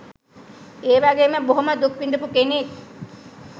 ඒ වගේම බොහොම දුක් විඳපු කෙනෙක්.